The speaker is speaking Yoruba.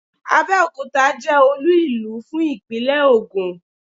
Abẹ́òkuta jẹ́ Olú ìlú fún ìpínlẹ̀ Ògùn